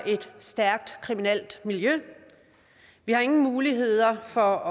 et stærkt kriminelt miljø vi har ingen muligheder for